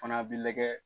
Fana bi lajɛ